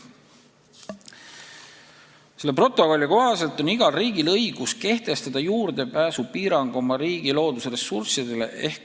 Protokolli kohaselt on igal riigil õigus kehtestada oma riigi loodusressurssidele juurdepääsu piirang.